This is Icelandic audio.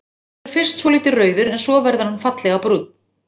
Hann verður fyrst svolítið rauður en svo verður hann fallega brúnn.